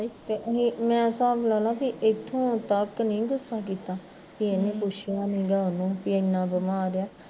ਮੈਂ ਹਿਸਾਬ ਲਾਲਾ ਵੀ ਇੱਥੋਂ ਤੱਕ ਨੀ ਗੁੱਸਾ ਕੀਤਾ ਵੀ ਇਹਨੇ ਪੁੱਛਿਆ ਨੀਗਾ ਉਹਨੂੰ ਵੀ ਏਨਾਂ ਬਿਮਾਰ ਰਿਹਾ